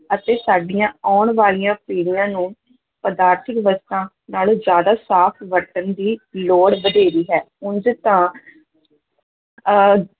ਅਤੇ ਸਾਡੀਆਂ ਆਉਣ ਵਾਲੀਆਂ ਪੀੜੀਆਂ ਨੂੰ ਪਦਾਰਥਕ ਵਸਤਾਂ ਨਾਲੋਂ ਜ਼ਿਆਦਾ ਸਾਫ਼ ਵਰਤਣ ਦੀ ਲੋੜ ਵਧੇਰੇ ਹੈ, ਉਂਝ ਤਾਂ ਅਹ